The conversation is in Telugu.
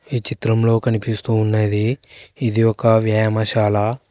ఈ చిత్రంలో కనిపిస్తూ ఉన్నది ఇది ఒక వ్యాయామశాన.